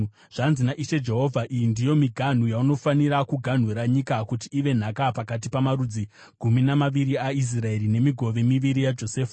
Zvanzi naIshe Jehovha: “Iyi ndiyo miganhu yaunofanira kuganhura nyika kuti ive nhaka pakati pamarudzi gumi namaviri aIsraeri, nemigove miviri yaJosefa.